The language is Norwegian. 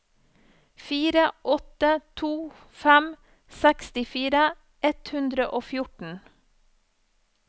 fire åtte to fem sekstifire ett hundre og fjorten